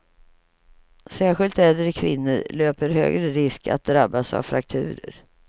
Särskilt äldre kvinnor löper högre risk att drabbas av frakturer.